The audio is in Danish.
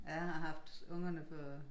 Ja jeg har haft ungerne på